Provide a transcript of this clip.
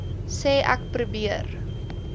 sê ek probeer